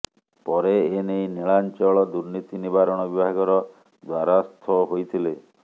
ପରେ ଏନେଇ ନିଳାଞ୍ଚଳ ଦୁର୍ନୀତି ନିବାରଣ ବିଭାଗର ଦ୍ୱାରାସ୍ଥ ହୋଇଥିଲେ